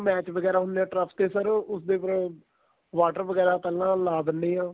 ਹੁਣ match ਵਗੈਰਾ ਹੁੰਦੇ ਏ turf ਤੇ sir ਉਸ ਦੇ ਉਪਰੋ ਵਾਟਰ ਵਗੈਰਾ ਪਹਿਲਾਂ ਲਾ ਦਿਨੇ ਆ